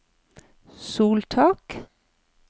soltak